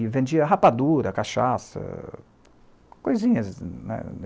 E vendia rapadura, cachaça, coisinhas, né.